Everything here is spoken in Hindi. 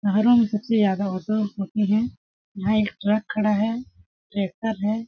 पहारों मे सबसे ज्यादा ऑटो होते हैं यहाँ एक ट्रक खड़ा हैं ट्रैक्टर हैं।